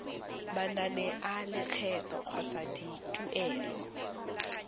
manane a lekgetho kgotsa dituelo